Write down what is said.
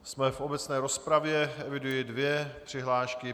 Jsme v obecné rozpravě, eviduji dvě přihlášky.